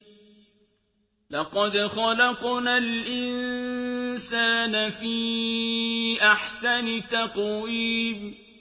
لَقَدْ خَلَقْنَا الْإِنسَانَ فِي أَحْسَنِ تَقْوِيمٍ